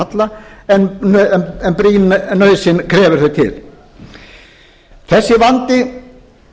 halla en brýn nauðsyn krefur þau til þessi vandi